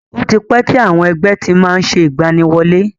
Ó ti pẹ́ tí àwọn ẹgbẹ́ ti má ń ṣe ìgbaniwọlé.